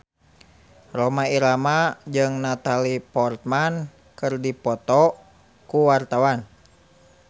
Rhoma Irama jeung Natalie Portman keur dipoto ku wartawan